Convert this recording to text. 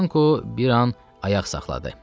Yanko bir an ayaq saxladı.